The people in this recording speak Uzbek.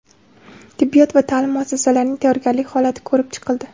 Tibbiyot va ta’lim muassasalarining tayyorgarlik holati ko‘rib chiqildi.